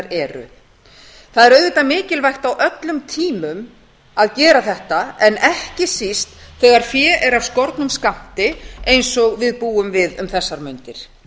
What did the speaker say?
eru það er auðvitað mikilvægt á öllum tímum að gera þetta en ekki síst þegar fé er af skornum skammti eins og við búum við um þessar mundir